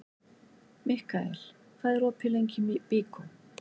Mikkael, hvað er opið lengi í Byko?